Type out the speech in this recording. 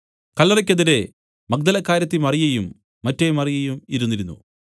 കല്ലറയ്ക്ക് എതിരെ മഗ്ദലക്കാരത്തി മറിയയും മറ്റെ മറിയയും ഇരുന്നിരുന്നു